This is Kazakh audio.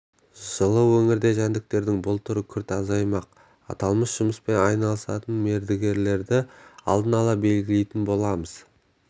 жылы өңірде жәндіктердің бұл түрі күрт азаймақ аталмыш жұмыспен айналысатын мердігерлерді алдын ала белгілейтін боламыз